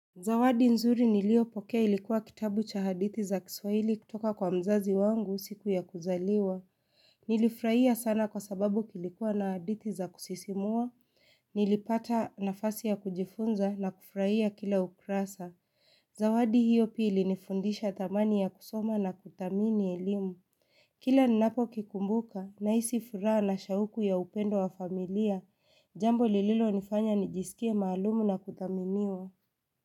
Zawadi nzuri niliyopokea ilikuwa kitabu cha hadithi za kiswahili kutoka kwa mzazi wangu siku ya kuzaliwa. Nilifurahia sana kwa sababu kulikuwa na hadithi za kusisimua, nilipata nafasi ya kujifunza na kufurahia kila ukurasa. Zawadi hiyo pia ilinifundisha thamani ya kusoma na kuthamini elimu. Kila ninapo kikumbuka, nahisi furaha na shauku ya upendo wa familia, jambo lililonifanya nijisikie maalumu na kuthaminiwa.